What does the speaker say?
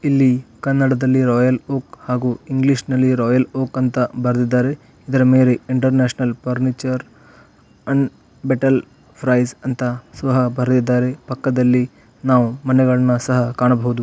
ಇಲ್ಲಿ ಕನ್ನಡದಲ್ಲಿ Royal Oak ಹಾಗು ಇಂಗ್ಲಿಷ್ ನಲ್ಲಿ ರಾಯಲ್ ಓಕ್ ಅಂತಾ ಬರೆದಿದ್ದಾರೆ. ಇದ್ರ ಮೇಲೆ ಇಂಟರ್ನ್ಯಾಷನಲ್ ಫರ್ನಿಚರ್ ಅನ್ ಬೇಟೆಲ್ ಫ್ರೈಸ್ ಅಂತಾ ಸುಹಾ ಬರೆದಿದ್ದಾರೆ. ಪಕ್ಕದಲ್ಲಿ ನಾವು ಮನೆಗಳನ ಸಹ ಕಾಣಬಹುದು.